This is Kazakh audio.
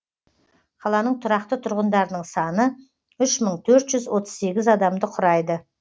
қаланың тұрақты тұрғындарының саны үш мың төрт жүз отыз сегіз адамды құрайды